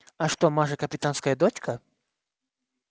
а что маша капитанская дочка